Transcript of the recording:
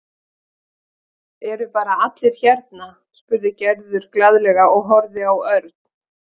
Eru bara allir hérna? spurði Gerður glaðlega og horfði á Örn.